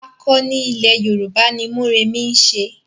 Àkọni ilẹ̀ Yorùbá ni Mórèmí ń ṣe.